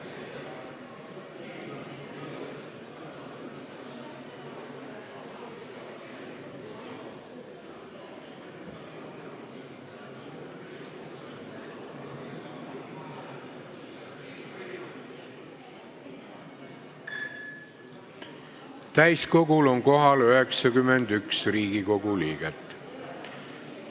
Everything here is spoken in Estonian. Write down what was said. Kohaloleku kontroll Täiskogul on kohal 91 Riigikogu liiget.